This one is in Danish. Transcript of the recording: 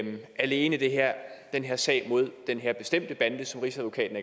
alene den her sag mod den her bestemte bande som rigsadvokaten